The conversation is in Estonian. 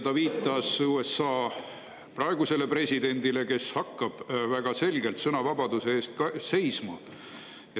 " Ta viitas USA praegusele presidendile, kes hakkab väga selgelt sõnavabaduse eest ka seisma.